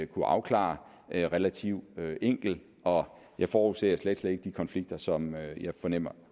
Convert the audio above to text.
kunne afklare relativt enkelt og jeg forudser slet slet ikke de konflikter som jeg fornemmer